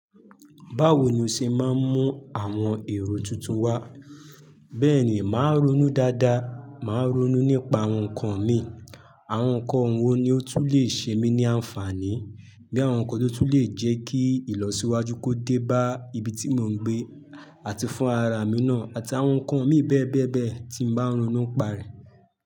Báwo ni o ṣe máa ń mú àwọn èrò tuntun wá, bẹ́ẹ̀ ni màá ronú dáadáa, màá ronú nípa àwọn nǹkan mi. Àwọn nǹkan wo ni ó tún lè ṣe mí ní àǹfààní bí àwọn nǹkan tó tún lè jẹ́ kí ìlọsíwájú kó dé bá ibi tí mò ń gbé àti fún ara mi náà àti àwọn nǹkan mi bẹ́ẹ̀ bẹ́ẹ̀ bẹ́ẹ̀ tí mo bá ronú pa rẹ̀.